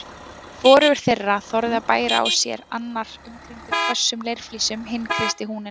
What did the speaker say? Hvorugur þeirra þorði að bæra á sér, annar umkringdur hvössum leirflísum, hinn kreisti húninn